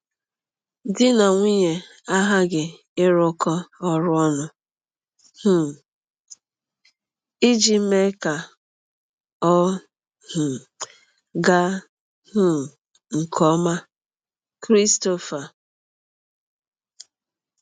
Di na nwunye aghaghị ịrụkọ ọrụ ọnụ um iji mee ka ọ um gaa um nke ọma.” – Christopher.